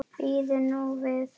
Bíðum nú við.